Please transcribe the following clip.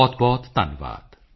ਬਹੁਤਬਹੁਤ ਧੰਨਵਾਦ